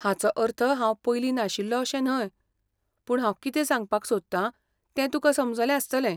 हाचो अर्थ हांव पयलीं नाशिल्लो अशें न्हय, पूण हांव कितें सांगपाक सोदतां तें तुकां समजलें आसतलें.